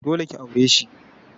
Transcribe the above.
Dole ki aure shi.